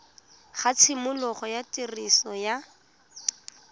ga tshimologo ya tiriso ya